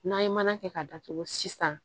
N'an ye mana kɛ k'a datugu sisan